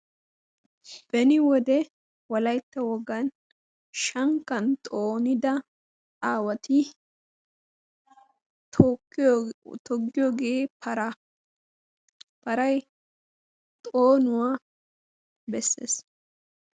Beni wode wolaytta wogaan shankkan xoonida Aawati toggiyoge paraa. Paraay xoonuwa beesees.